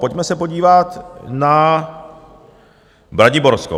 Pojďme se podívat na Braniborsko.